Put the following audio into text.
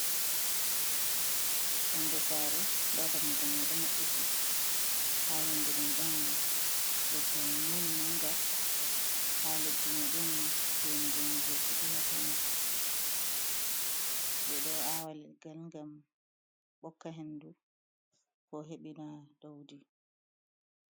Yonde sare nda dammugol mai ɗo maɓɓiti, ha yonde mai ɗon leggal nim manga, ha leddi mai ɗon gene gene je fuɗi ha to mai, ɓe ɗo awa leggal ngam hokka hendu, ko heɓina ɗaudi.